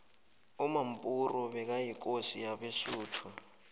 umampuru bekayikosi yabesuthu